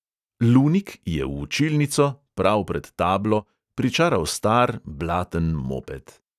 Lunik je v učilnico, prav pred tablo, pričaral star, blaten moped.